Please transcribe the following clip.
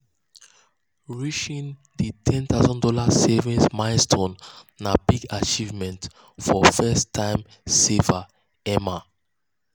reaching di one thousand dollars0 savings milestone na big achievement for first-time saver emma.